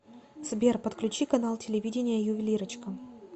сбер подключи канал телевидения ювелирочка